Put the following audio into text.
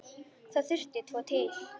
Það þurfti tvo til.